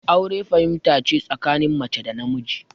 Aure fahimta ce tsakanin mace da namiji